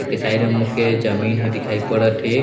एके side में मोके जमीन भी दिखाई पड़त हे।